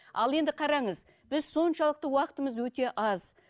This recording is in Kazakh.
ал енді қараңыз біз соншалықты уақытымыз өте аз